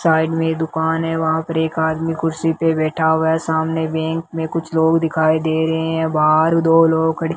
side में दुकान है वहां पर एक आदमी कुर्सी पर बैठा हुआ सामने बैंक में कुछ लोग दिखाई दे रहे हैं बाहर दो लोग खड़े --